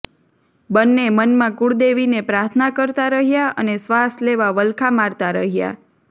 બંને મનમાં કુળદેવીને પ્રાર્થના કરતા રહ્યાં અને શ્વાસ લેવા વલખાં મારતા રહ્યા